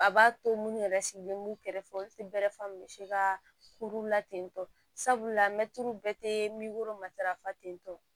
A b'a to minnu yɛrɛ sigilen b'u kɛrɛfɛ olu tɛ bɛɛrɛ fɔ misi ka kuru la tentɔ sabula mɛtiriw bɛɛ tɛ matarafa tentɔ